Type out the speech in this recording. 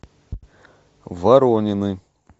воронины